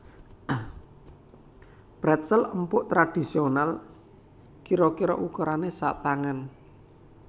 Pretzel empuk tradhisional kira kira ukurané satangan